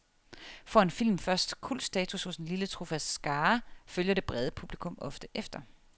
Får en film først kultstatus hos en lille trofast skare, følger det brede publikum ofte efter.